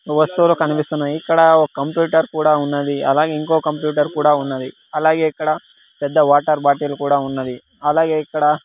వస్తువులు కనిపిస్తున్నాయి ఇక్కడ ఒక కంప్యూటర్ కూడా ఉన్నది. అలాగే ఇంకో కంప్యూటర్ కూడా ఉన్నది. అలాగే ఇక్కడ పెద్ద వాటర్ బాటిల్ కూడా ఉన్నది. అలాగే ఇక్కడ --